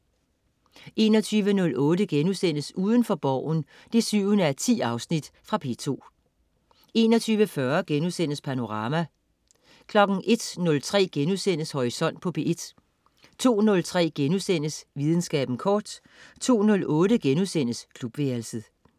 21.08 Udenfor Borgen 7:10.* Fra P2 21.40 Panorama* 01.03 Horisont på P1* 02.03 Videnskaben kort* 02.08 Klubværelset*